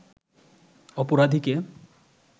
অপরাধীকে